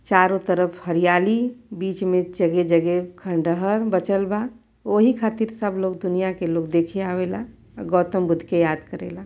चारो तरफ हरियाली बीच में जगह जगह खंडरहर बचल बा ओहि खतिर सब लोग दुनिया के लोग देखे आवेला गौतम बुद्ध के याद करे ला।